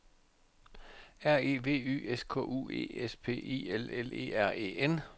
R E V Y S K U E S P I L L E R E N